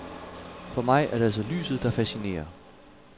For mig er det altså lyset, der fascinerer.